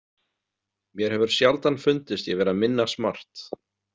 Mér hefur sjaldan fundist ég vera minna smart.